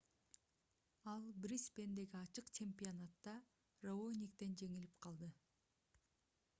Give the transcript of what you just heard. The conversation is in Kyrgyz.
ал брисбендеги ачык чемпионатта раониктен жеңилип калды